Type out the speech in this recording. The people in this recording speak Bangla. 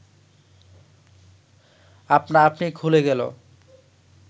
আপনা আপনি খুলে গেল